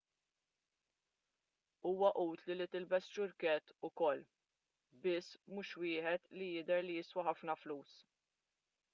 huwa utli li tilbes ċurkett ukoll biss mhux wieħed li jidher li jiswa ħafna flus